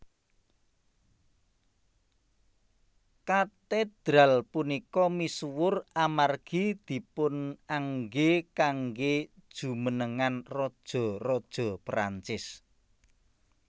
Katedral punika misuwur amargi dipunanggé kanggé jumenengan raja raja Prancis